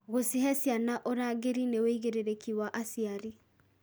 Gũcihe ciana ũrangĩri nĩ wĩigĩrĩrĩki wa aciari.